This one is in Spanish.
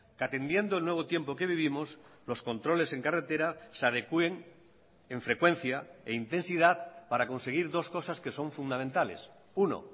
que atendiendo el nuevo tiempo que vivimos los controles en carretera se adecuen en frecuencia e intensidad para conseguir dos cosas que son fundamentales uno